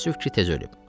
Təəssüf ki, tez ölüb.